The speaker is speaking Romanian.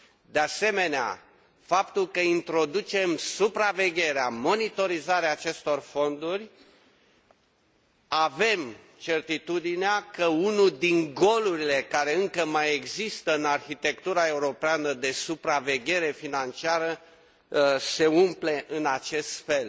De asemenea, prin faptul că introducem supravegherea, monitorizarea acestor fonduri, avem certitudinea că unul dintre golurile care încă mai există în arhitectura europeană de supraveghere financiară se umple în acest fel